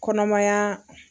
Kɔnɔmaya.